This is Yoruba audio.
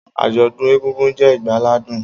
Ajodun egungun, je igbaladun.